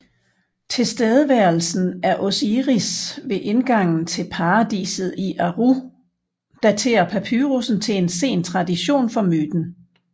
Tilstedeværelsen af Osiris ved indgangen til paradiset i Aaru daterer papyrusen til en sen tradition for myten